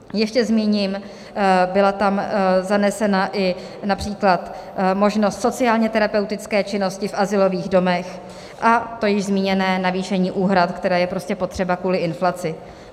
Ještě zmíním: byla tam zanesena i například možnost sociálně terapeutické činnosti v azylových domech, a to již zmíněné navýšení úhrad, které je prostě potřeba kvůli inflaci.